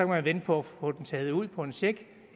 man vente på at få dem taget ud på en check